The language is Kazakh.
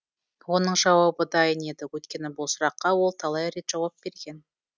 оның жауабы дайын еді өйткені бұл сұраққа ол талай рет жауап берген